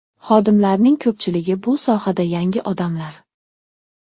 Xodimlarning ko‘pchiligi bu sohada yangi odamlar.